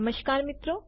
નમસ્કાર મિત્રો